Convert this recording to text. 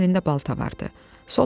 Onunsa sağ əlində balta vardı.